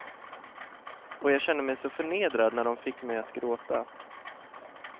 Och jag kände mig så förnedrad när dom fick mig att gråta.